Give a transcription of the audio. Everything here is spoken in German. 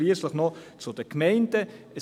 Und schliesslich noch zu den Gemeinden: